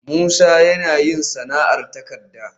Musa yana yin sana'ar takarda